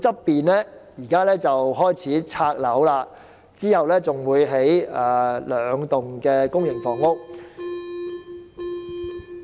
現時，陶窯附近開始清拆建築物，之後會興建兩幢公營房屋。